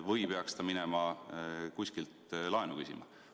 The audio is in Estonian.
Või peaks ta minema kuskilt laenu küsima?